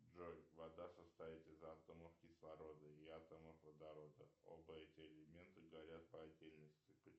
джой вода состоит из атомов кислорода и атомов водорода оба эти элемента горят по отдельности